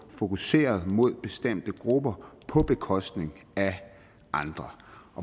fokuseret mod bestemte grupper på bekostning af andre